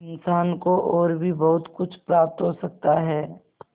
इंसान को और भी बहुत कुछ प्राप्त हो सकता है